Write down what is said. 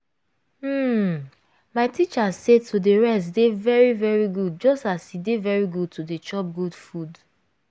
hmm my teacher say to dey rest dey very very good just as e dey very good to dey chop good food